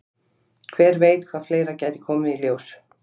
Hver veit hvað fleira gæti komið í ljós?